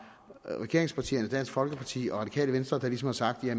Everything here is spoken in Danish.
regeringspartierne dansk folkeparti og radikale venstre der ligesom har sagt at